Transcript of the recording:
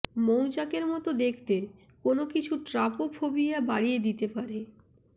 মৌচাকের মত দেখতে কোন কিছু ট্রাপোফোবিয়া বাড়িয়ে দিতে পারে